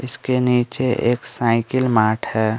इसके नीचे एक साइकिल मार्ट है।